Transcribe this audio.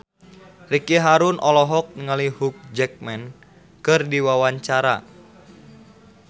Ricky Harun olohok ningali Hugh Jackman keur diwawancara